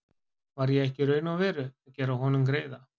Var ég ekki í raun og veru að gera honum greiða?